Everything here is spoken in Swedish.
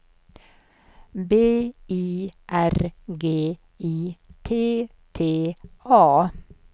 B I R G I T T A